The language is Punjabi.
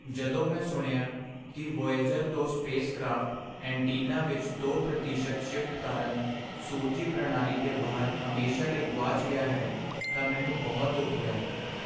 ਜਦੋਂ ਮੈਂ ਸੁਣਿਆ ਕੀ ਵੋਏਜਰ ਦੋ ਸਪੇਸ ਕਰਾਫ਼ਟ ਐਂਟੀਨਾ ਵਿੱਚ ਦੋ ਪ੍ਰਤੀਸ਼ਤ ਸ਼ਿਫਟ ਕਾਰਨ ਸੂਰਜੀ ਪ੍ਰਣਾਲੀ ਦੇ ਬਾਹਰ ਹਮੇਸ਼ਾ ਲਈ ਗੁਆਚ ਗਿਆ ਹੈ ਤਾਂ ਮੈਨੂੰ ਬਹੁਤ ਦੁੱਖ ਹੋਇਆ